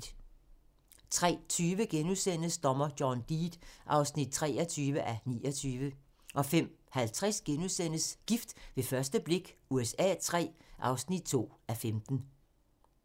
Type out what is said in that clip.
03:20: Dommer John Deed (23:29)* 05:50: Gift ved første blik USA III (2:15)*